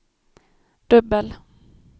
dubbel